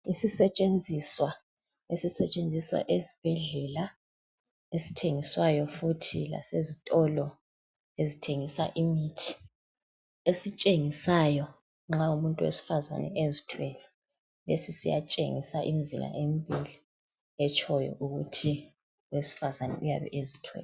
Isisetshenziswa esisetshenziswa ezibhedlela, esithengiswayo futhi lasezitolo ezithengisa imithi. Esitshengisayo nxa umuntu wesifazane ezithwele esesiya tshengisa imzila embili etshoyo ukuthi owesifazane uyabe ezithwele.